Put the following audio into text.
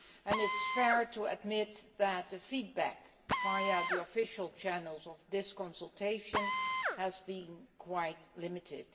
It is fair to admit that the feedback via the official channels of this consultation has been quite limited.